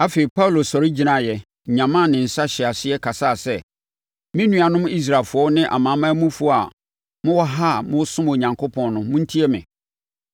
Afei, Paulo sɔre gyinaeɛ, nyamaa ne nsa hyɛɛ aseɛ kasaa sɛ, “Me nuanom Israelfoɔ ne amanamanmufoɔ a mowɔ ha a mosom Onyankopɔn no, montie me!